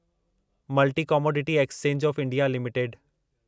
multi commodity exchange of India limited